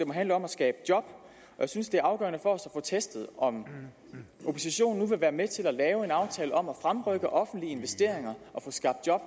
må handle om at skabe job og jeg synes det er afgørende for os at få testet om oppositionen nu vil være med til at lave en aftale om at fremrykke offentlige investeringer og få skabt job